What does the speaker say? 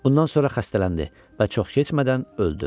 Bundan sonra xəstələndi və çox keçmədən öldü.